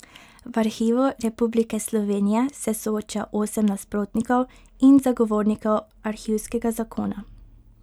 V Arhivu Republike Slovenije se sooča osem nasprotnikov in zagovornikov arhivskega zakona.